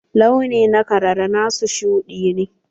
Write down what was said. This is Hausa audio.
Launi na karara na su shuɗi ne.